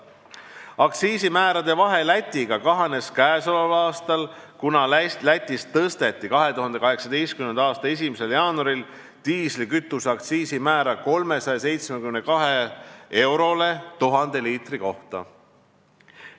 Aktsiisimäärade vahe Lätiga kahanes käesoleval aastal, kuna Lätis tõsteti 2018. aasta 1. jaanuaril diislikütuse aktsiisi määra 372 eurole 1000 liitri kohta.